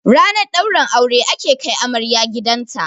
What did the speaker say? Ranar ɗaurin aure ake kai amarya gidanta